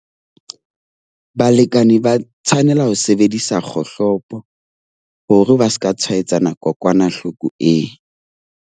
Balekane ba tshwanela ho sebedisa kgohlopo hore ba ska tshwaetsana kokwanahloko eo.